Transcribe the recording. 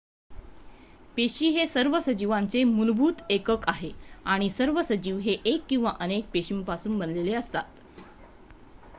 पेशी हे सर्व सजीवांचे मूलभूत एकक आहे आणि सर्व सजीव हे 1 किंवा अनेक पेशींपासून बनलेले असतात